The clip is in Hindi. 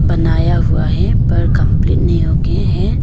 बनाया हुआ है पर कंप्लीट नहीं होके है।